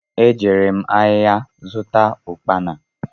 E jere m áhiá zụta ukpana.